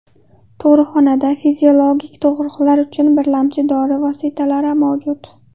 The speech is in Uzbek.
Tug‘ruqxonada fiziologik tug‘ruqlar uchun birlamchi dori vositalari mavjud.